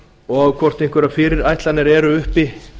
og hvort einhverjar fyrirætlanir eru uppi